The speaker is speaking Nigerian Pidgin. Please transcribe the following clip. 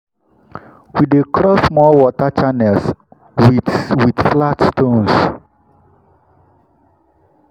we dey cross small water channels with with flat stones.